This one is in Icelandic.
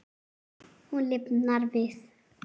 Hún lifnar við.